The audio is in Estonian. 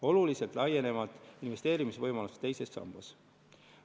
Oluliselt laienevad investeerimisvõimalused teises sambas.